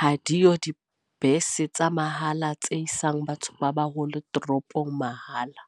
Hadiyo dibese tsa mahala tse isang batho ba baholo toropong mahala.